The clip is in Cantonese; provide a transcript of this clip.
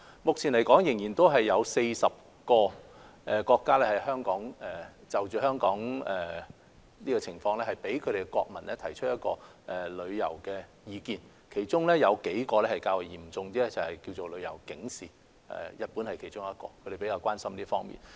目前仍然有40個國家就香港的情況，向國民發出旅遊提示，其中有數個國家發出了程度較為嚴重的旅遊警示，而日本是其中之一，他們比較關心這方面。